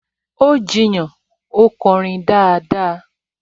Ó jiyàn, 'ó kọrin dáadáa!